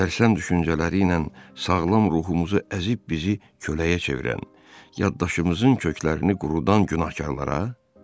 Sərsəm düşüncələri ilə sağlam ruhumuzu əzib bizi köləyə çevirən, yaddaşımızın köklərini qurudan günahkarlara?